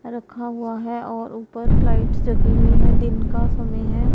रखा हुआ है और ऊपर लाइट जगी हुई है दिन का समय है।